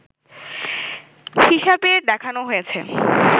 হিসেবে দেখানো হয়েছে